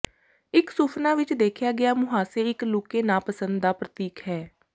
ਇੱਕ ਸੁਫਨਾ ਵਿੱਚ ਦੇਖਿਆ ਗਿਆ ਮੁਹਾਸੇ ਇੱਕ ਲੁਕੇ ਨਾਪਸੰਦ ਦਾ ਪ੍ਰਤੀਕ ਹੈ